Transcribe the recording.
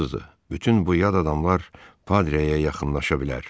Bütün bu yad adamlar Padreyə yaxınlaşa bilər.